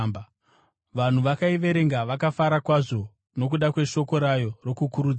Vanhu vakaiverenga vakafara kwazvo nokuda kweshoko rayo rokukurudzira.